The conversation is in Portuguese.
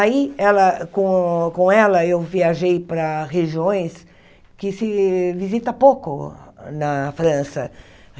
Aí, ela com com ela, eu viajei para regiões que se visita pouco na França.